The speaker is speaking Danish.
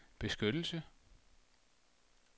beskyttelse